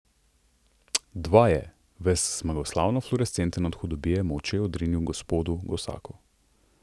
Dva je, ves zmagoslavno fluorescenten od hudobije, molče odrinil gospodu Gosaku.